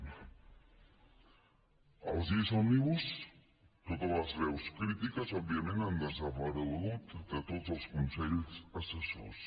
amb les lleis òmnibus totes les veus crítiques òbviament han desaparegut de tots els consells assessors